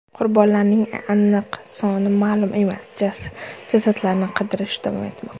Qurbonlarning aniq soni ma’lum emas, jasadlarni qidirish davom etmoqda.